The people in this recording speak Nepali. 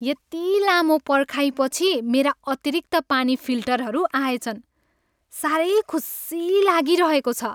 यति लामो पर्खाइपछि मेरा अतिरिक्त पानी फिल्टरहरू आएछन्। साह्रै खुसी लागिरहेको छ।